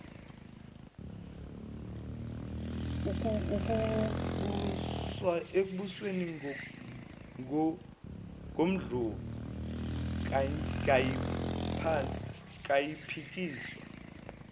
ekubusweni ngondlovu kayiphikiswa